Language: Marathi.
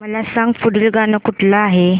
मला सांग पुढील गाणं कुठलं आहे